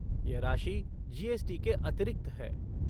यह राशि जी.एस.टी. के अतिरिक्त है।